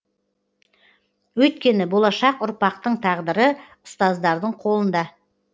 өйткені болашақ ұрпақтың тағдыры ұстаздардың қолында